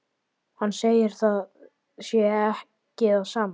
Hann segir að það sé ekki það sama.